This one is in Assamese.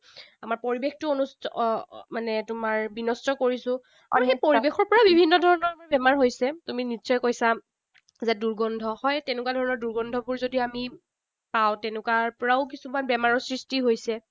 আমাৰ পৰিৱেশটো আহ মানে তোমাৰ বিনষ্ট কৰিছো। পৰিৱেশৰ পৰাও বিভিন্ন ধৰণৰ বেমাৰ হৈছে। তুমি নিশ্চয় কৈছা যে দুৰ্গন্ধ। হয়, তেনেকুৱা ধৰণৰ দুৰ্গন্ধবোৰ যদি আমি পাওঁ, তেনেকুৱা পৰাও কিছুমান বেমাৰৰ সৃষ্টি হৈছে।